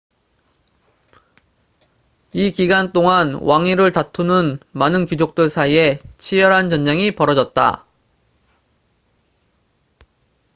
이 기간 동안 왕위를 다투는 많은 귀족들 사이에 치열한 전쟁이 벌어졌다